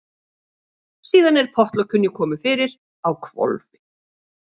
Síðan er pottlokinu komið fyrir á hvolfi.